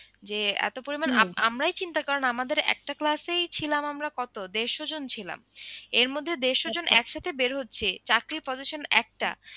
যে এত পরিমান আমরাই চিন্তা করেন আমাদের একটা class এই ছিলাম আমরা কত দেড়শ জন ছিলাম এর মধ্যে দেড়শ জন একসাথে বের হচ্ছে চাকরির position একটা।